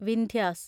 Vindhyas